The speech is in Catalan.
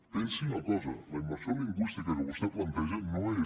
pensi una cosa la immersió lingüística que vostè planteja no és